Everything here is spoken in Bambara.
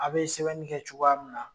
A be sɛbɛnni kɛ cogoya min na